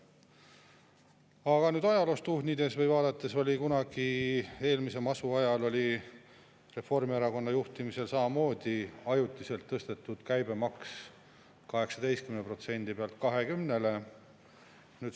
Aga kui nüüd ajaloos tuhnida või vaadata, siis kunagi, eelmise masu ajal Reformierakonna juhtimisel samamoodi tõsteti ajutiselt käibemaksu 18%-lt 20%-le.